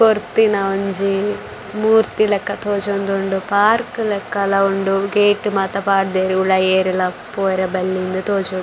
ಕೊರ್ತಿನ ಒಂಜಿ ಮೂರ್ತಿ ಲಕ ತೋಜೊಂದುಂಡು ಪಾರ್ಕ್ ಲೆಕಲ ಉಂಡು ಗೇಟ್ ಮಾತ ಪಾಡ್ದೆರ್ ಉಲಾಯಿ ಏರ್ಲ ಪೋರೆ ಬಲ್ಲಿ ಇಂದ್ ತೋಜೊಡು.